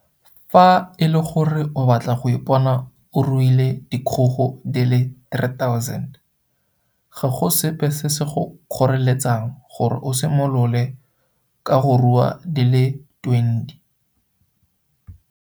Fa e le gore o batla go ipona o ruile dikgogo di le 3 000, ga go sepe se se go kgoreletsang gore o simolole ka go rua di le 20.